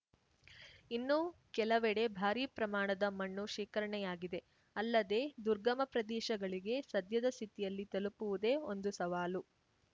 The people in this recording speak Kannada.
ಇನ್ನು ಕೆಲವೆಡೇ ಭಾರೀ ಪ್ರಮಾಣದ ಮಣ್ಣು ಶೇಖರಣೆಯಾಗಿದೆ ಅಲ್ಲದೆ ದುರ್ಗಮ ಪ್ರದೇಶಗಳಿಗೆ ಸದ್ಯದ ಸ್ಥಿತಿಯಲ್ಲಿ ತಲುಪುವುದೇ ಒಂದೇ ಸವಾಲು